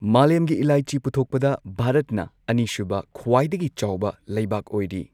ꯃꯥꯂꯦꯝꯒꯤ ꯏꯂꯥꯏꯆꯤ ꯄꯨꯊꯣꯛꯄꯗ ꯚꯥꯔꯠꯅ ꯑꯅꯤꯁꯨꯕ ꯈ꯭ꯋꯥꯢꯗꯒꯤ ꯆꯥꯎꯕ ꯂꯩꯕꯥꯛ ꯑꯣꯏꯔꯤ꯫